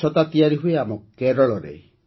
ଏହି ଛତା ତିଆରି ହୁଏ ଆମ କେରଳରେ